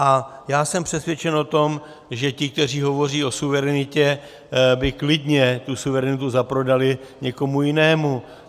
A já jsem přesvědčen o tom, že ti, kteří hovoří o suverenitě, by klidně tu suverenitu zaprodali někomu jinému.